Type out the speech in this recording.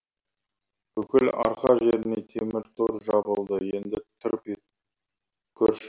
бүкіл арқа жеріне темір тор жабылды енді тырп етіп көрші